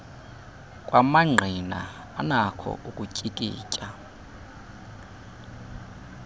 kwamangqina anakho ukutyikitya